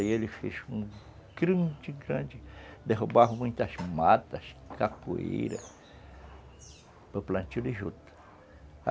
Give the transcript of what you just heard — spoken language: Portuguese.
Aí eles fizeram gigante, derrubaram muitas matas, capoeira, para o plantio de juta.